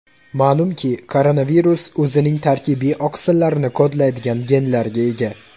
Ma’lumki, koronavirus o‘zining tarkibiy oqsillarini kodlaydigan genlarga ega.